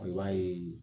I b'a ye